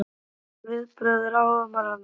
En hver eru viðbrögð ráðamanna?